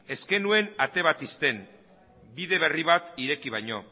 ez genuen ate bat ixten bide berri bat ireki baino